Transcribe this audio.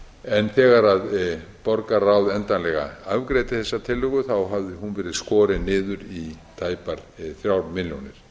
en þegar borgarráð endanlega afgreiddi þessa tillögu hafði hún verið skorin niður í tæpar þrjár milljónir ég